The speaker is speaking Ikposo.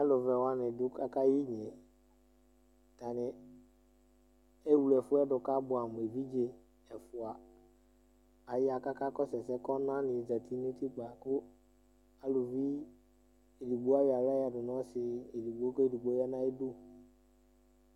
Aalʋ vɛ wani ɖʋ k'aka yɛ iyne' Aatani ewluefʋɛ k'abuamʋevidze' ɛfua aya k'akakɔsʋ ɛsɛ k'ɔnani zeti nʋ utikpa kʋ ʋluvi ɛɖigbo ayɔ aɣla yɔyeaɖʋ nʋ ɔsii eɖigbo, k'ɛɖigbo yeaa n'ʋyiɖʋ